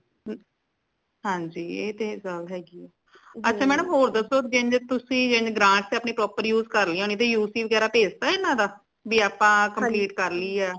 ਹਾਂਜੀ ਏ ਤੇ ਗੱਲ ਹੈਗੀ ਹੈ ਅੱਛਾ madam ਹੋਰ ਦੱਸੋ ਜਿੰਜ ਤੁਸੀ ਜਿੰਜ grant ਤੇ ਤੁਸੀ ਅਪਣੀ proper use ਕਰ ਲਈ ਹੂਣੀ ਤੇ U C ਵਗੈਰਾ ਭੇਜ ਤਾ ਇਨਾ ਦਾ ਭੀ ਆਪਾ complete ਕਰ ਲੀ ਆ